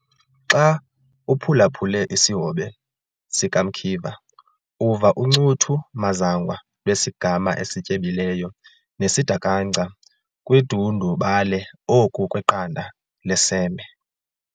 Xa uphulaphule isihobe sikaMkiva, uva uncuthu mazangwa lwesigama esityebileyo, nesidakanca kudundubale oku kweqanda leseme